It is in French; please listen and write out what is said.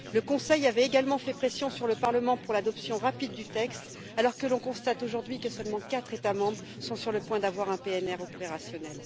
Le Conseil avait également fait pression sur le Parlement pour l'adoption rapide du texte, alors que l'on constate aujourd'hui que seulement quatre États membres sont sur le point d'avoir un PNR opérationnel.